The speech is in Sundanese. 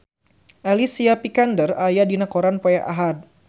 Alicia Vikander aya dina koran poe Ahad